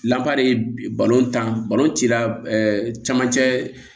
de ye balontan balon cila camancɛ